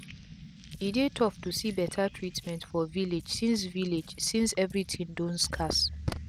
e dey tough too see beta treatment for village since village since everi tin don scarce